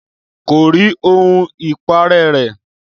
Kò rí ohun ìparẹ́ rẹ̀